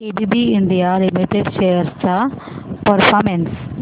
ABB India limited shares चा performance